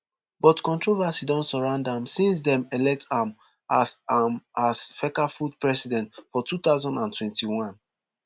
but controversy don surround am since dem elect am as am as fecafoot president for two thousand and twenty-one